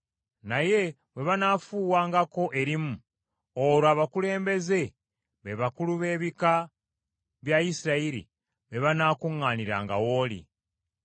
Naye bwe banaafuuwangako erimu, olwo abakulembeze, be bakulu b’ebika bya Isirayiri, be banaakuŋŋaaniranga w’oli.